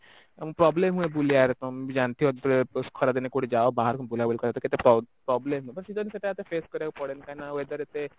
problem ହୁଏ ବୁଲିବାରେ ତମେ ବି ଜାଣିଥିବ ଯେତେବେଳେ ଖରା ଦିନେ କଉଠିକି ଯାଅ ବାହାରକୁ ବୁଲାବୁଲି କେତେ problem ସେଇଟା ଏତେ face କରିବାକୁ ପଡେନି କାହିଁନା weather ଏତେ